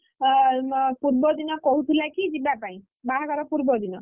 ପୂର୍ବ ଦିନ କହୁଥିଲା କି ଯିବା ପାଇଁ ବାହାଘର ପୂର୍ବ ଦିନ ମୁଁ କହିଲି ମୁଁ ଯିବିନି।